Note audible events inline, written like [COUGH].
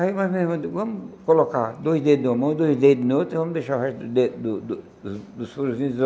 Aí mais ou menos, vamos colocar dois dedos em uma mão e dois dedos em outra e vamos deixar o resto do dedo do do dos furosinhos. [UNINTELLIGIBLE]